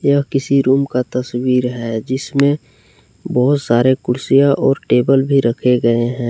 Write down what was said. यह किसी रूम का तस्वीर है जिसमें बहुत सारे कुर्सियां और टेबल भी रखे गए हैं।